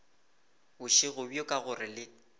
bošego bjo ka gore le